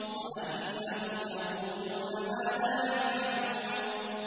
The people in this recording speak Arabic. وَأَنَّهُمْ يَقُولُونَ مَا لَا يَفْعَلُونَ